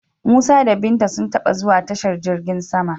Musa da Binta sun taba zuwa tashar jirgin sama.